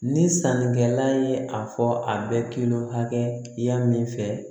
Ni sannikɛla ye a fɔ a bɛ kilo hakɛya min fɛ